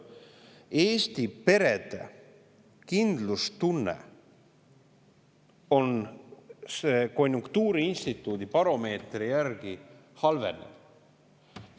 Eesti perede kindlustunne on konjunktuuriinstituudi baromeetri järgi halvenev.